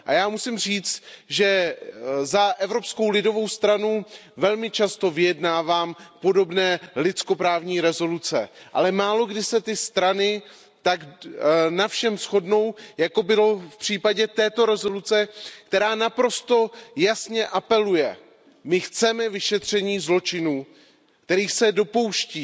A já musím říct, že za Evropskou lidovou stranu velmi často vyjednávám podobné lidskoprávní rezoluce, ale málokdy se ty strany tak na všem shodnou, jako bylo v případě této rezoluce, která naprosto jasně apeluje my chceme vyšetření zločinů, kterých se dopouští